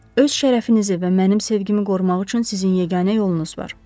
Öz şərəfinizi və mənim sevgimi qorumaq üçün sizin yeganə yolunuz var.